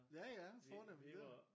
Ja ja fornemt det